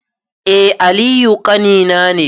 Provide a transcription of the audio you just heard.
Eh aliyu ƙanina ne